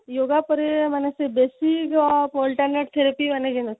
yoga ପରେ ମାନେ ସେ ବେଶୀ ଯୋଉ therapy ଅଛି